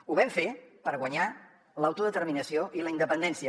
ho vam fer per guanyar l’autodeterminació i la independència